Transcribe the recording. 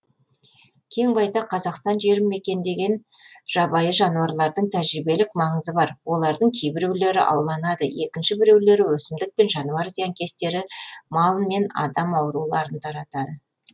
кең байтақ қазақстан жерін мекендеген жабайы жануарлардың тәжірибелік маңызы бар олардың кейбіреулері ауланады екінші біреулері өсімдік пен жануар зиянкестері мал мен адам ауруларын таратады